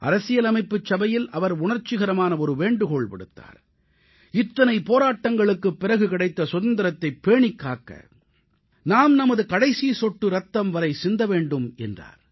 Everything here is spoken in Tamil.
அரசியலமைப்புச் சபையில் அவர் உணர்ச்சிகரமான ஒரு வேண்டுகோள் விடுத்தார் இத்தனை போராட்டங்களுக்குப் பிறகு கிடைத்த சுதந்திரத்தைப் பேணிக் காக்க நாம் நமது கடைசிச் சொட்டு ரத்தம் இருக்கும் வரை பாடுபட வேண்டும் என்றார்